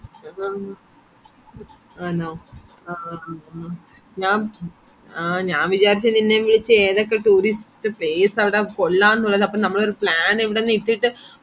ആ ആണോ ആഹ് ആഹ് ഞ ഞാൻ വിചാരിച് നിന്നെ വിളിച് ഏതൊക്കെ tourist place ആണ് കൊള്ളാംന്ന് ഉള്ളത് അപ്പൊ നമ്മളൊരു plan ഇവിടന്ന് ഇട്ടിട്ട്